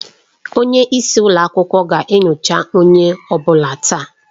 Onye isi ụlọ akwụkwọ ga-enyocha onye ọ bụla taa.